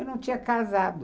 Eu não tinha casado.